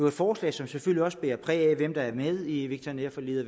et forslag som selvfølgelig også bærer præg af hvem der er med i veterinærforliget